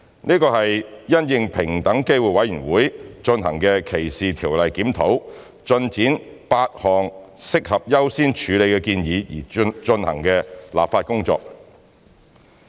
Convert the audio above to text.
這是因應平等機會委員會進行的歧視條例檢討，推展8項適合優先處理的建議而進行的立法工作。